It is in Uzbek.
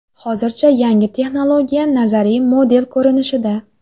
Hozircha yangi texnologiya nazariy model ko‘rinishida.